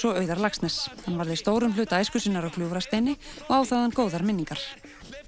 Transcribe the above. og Auðar Laxness hann varði stórum hluta æsku sinnar á Gljúfrasteini og á þaðan góðar minningar